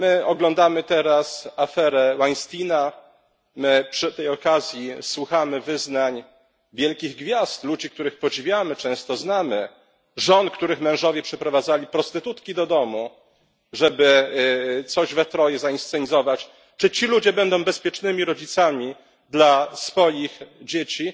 Oglądamy teraz aferę Weinsteina i przy tej okazji słuchamy wyznań wielkich gwiazd, ludzi, których często podziwiamy i znamy, żon, których mężowie przeprowadzali prostytutki do domu, żeby coś we troje zainscenizować czy ci ludzie będą bezpiecznymi rodzicami dla swoich dzieci?